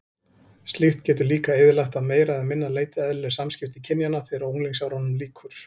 Slíkt getur líka eyðilagt að meira eða minna leyti eðlileg samskipti kynjanna þegar unglingsárunum lýkur.